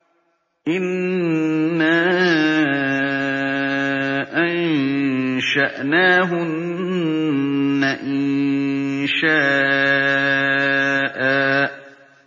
إِنَّا أَنشَأْنَاهُنَّ إِنشَاءً